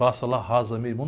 Passa lá, arrasa meio mundo.